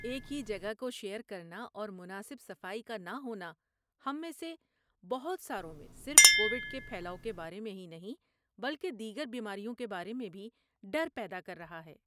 ایک ہی جگہ کو شیئر کرنا اور مناسب صفائی کا نہ ہونا ہم میں سے بہت ساروں میں صرف کوویڈ کے پھیلاؤ کے بارے میں ہی نہیں بلکہ دیگر بیماریوں کے بارے میں بھی ڈر پیدا کر رہا ہے۔